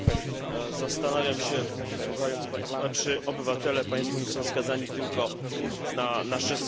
Zastanawiam się, słuchając państwa, czy obywatele państw Unii są skazani tylko na nasze słowa.